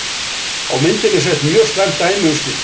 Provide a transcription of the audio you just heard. Á myndinni sést mjög slæmt dæmi um slíkt.